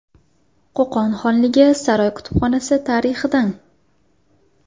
Qo‘qon xonligi saroy kutubxonasi tarixidan.